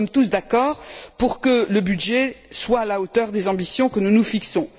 Nous sommes tous d'accord pour que le budget soit à la hauteur des ambitions que nous nous fixons.